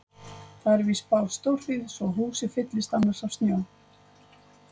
Það er víst spáð stórhríð svo húsið fyllist annars af snjó.